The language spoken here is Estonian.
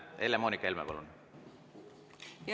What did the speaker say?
Helle-Moonika Helme, palun!